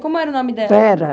Como era o nome dela? Vera.